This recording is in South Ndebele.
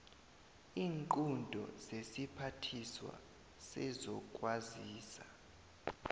iinqunto zesiphathiswa sezokwazisa